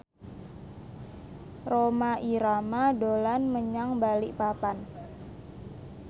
Rhoma Irama dolan menyang Balikpapan